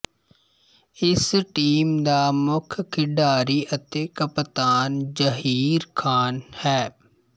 ਇਸ ਟੀਮ ਦਾ ਮੁੱਖ ਖਿਡਾਰੀ ਅਤੇ ਕਪਤਾਨ ਜ਼ਹੀਰ ਖ਼ਾਨ ਹੈ